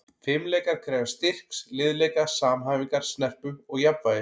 Fimleikar krefjast styrks, liðleika, samhæfingar, snerpu og jafnvægis.